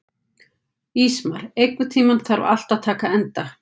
Ísmar, einhvern tímann þarf allt að taka enda.